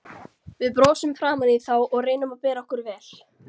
Við brosum framaní þá og reynum að bera okkur vel.